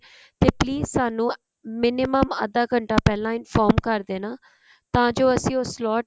ਤੇ please ਸਾਨੂੰ minimum ਅੱਧਾ ਘੰਟਾ ਪਹਿਲਾਂ inform ਕਰ ਦੇਣਾ ਤਾਂ ਜੋ ਅਸੀਂ ਉਹ slot